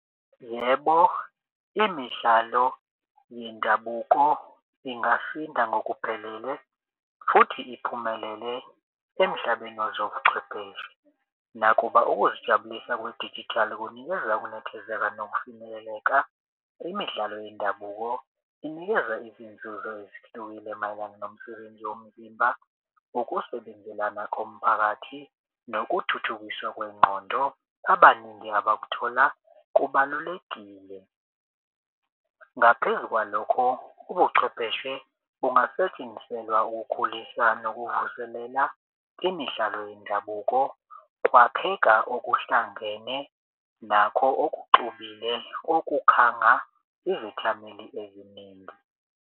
Yebo, imidlalo yendabuko ingasinda ngokuphelele futhi iphumelele emhlabeni wezobuchwepheshe. Nakuba ukuzijabulisa kwedijithali kunikeza ukunethezeka nokufinyeleleka imidlalo yendabuko inikeza izinzuzo ezihlukile mayelana nomsebenzi womzimba, ukusebenzelana komphakathi nokuthuthukiswa kwengqondo abaningi abazithola kubalulekile. Ngaphezu kwalokho, ubuchwepheshe bungasetshenziselwa ukukhulisa nokuvuselela imidlalo yendabuko kwakheka okuhlangene nakho okuxubile okukhanga izethameli eziningi.